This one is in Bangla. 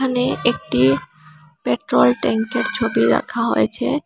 এখানে একটি পেট্রোল ট্যাংকের ছবি রাখা হয়েছে।